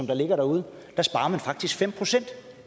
der ligger derude der sparer man faktisk fem procent